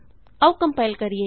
ਆਉ ਕੰਪਾਇਲ ਕਰੀਏ